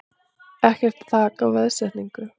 Ekkert þak á veðsetningu